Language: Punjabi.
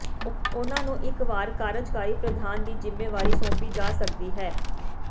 ਉਨ੍ਹਾਂ ਨੂੰ ਇੱਕ ਵਾਰ ਕਾਰਜਕਾਰੀ ਪ੍ਰਧਾਨ ਦੀ ਜ਼ਿੰਮੇਵਾਰੀ ਸੌਪੀ ਜਾ ਸਕਦੀ ਹੈ